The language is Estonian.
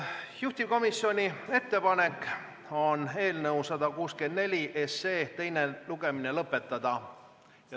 Juhtivkomisjoni ettepanek on eelnõu 164 teine lugemine lõpetada.